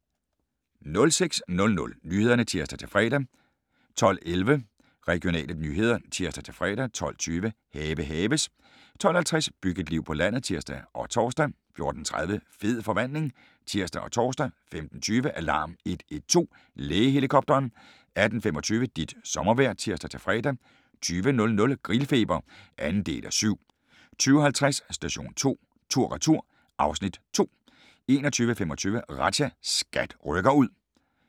06:00: Nyhederne (tir-fre) 12:11: Regionale nyheder (tir-fre) 12:20: Have haves 12:50: Byg et liv på landet (tir og tor) 14:30: Fed forvandling (tir og tor) 15:20: Alarm 112 – Lægehelikopteren 18:25: Dit sommervejr (tir-fre) 20:00: Grillfeber (2:7) 20:50: Station 2 tur/retur (Afs. 2) 21:25: Razzia – SKAT rykker ud